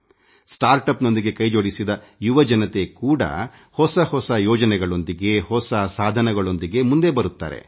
ನವೋದ್ಯಮದೊಂದಿಗೆ ಕೈ ಜೋಡಿಸಿದ ಯುವ ಜನತೆ ಕೂಡಾ ಹೊಸ ಹೊಸ ಯೋಜನೆಗಳೊಂದಿಗೆ ಹೊಸ ಸಾಧನಗಳೊಂದಿಗೆ ಮುಂದೆ ಬರುತ್ತಿದ್ದಾರೆ